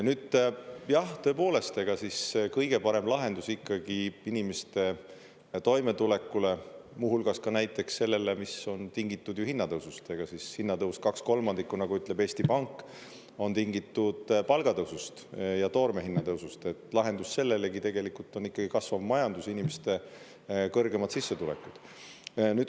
Nüüd jah, tõepoolest, ega siis kõige parem lahendus ikkagi inimeste toimetulekule, muu hulgas ka näiteks sellele, mis on tingitud ju hinnatõusust – ega siis hinnatõus kaks kolmandikku, nagu ütleb Eesti Pank, on tingitud palgatõusust ja toorme hinnatõusust –, lahendus sellelegi tegelikult on ikkagi kasvav majandus, inimeste kõrgemad sissetulekud.